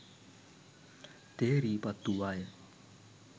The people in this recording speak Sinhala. තේරී පත්වූවාය